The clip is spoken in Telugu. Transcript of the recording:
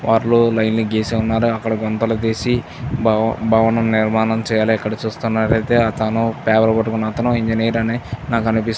వాళ్ళు లైన్ గీసినారు. అక్కడా గుంతలు తీసి భవనం నిర్మాణం చేయాలి ఎక్కడ చూస్తున్నారు. అయితే అతను పేపర్ పట్టుకునాతను ఇంజనీర్ అని నాకు అనిపిస్తుంది.